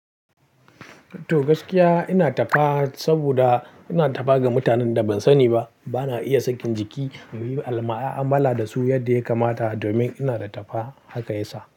To gaskiya ina ta fa saboda ina ta fa ga mutanen da ban sani ba, bana iya sakin jiki na yi alma'a, mala da su yadda ya kamata domin ina da ta fa haka ya sa.